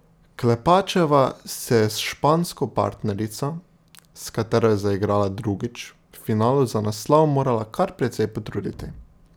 Klepačeva se je s špansko partnerico, s katero je zaigrala drugič, v finalu za naslov morala kar precej potruditi.